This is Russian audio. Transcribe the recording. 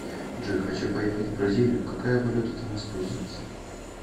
джой хочу поехать в бразилию какая валюта там используется